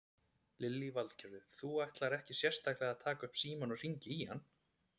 Lillý Valgerður: Þú ætlar ekkert sérstaklega að taka upp símann og hringja í hann?